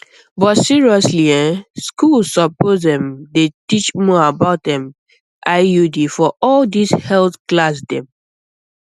but seriously ehh schools suppose um dey teach more about um iud for all this health class dem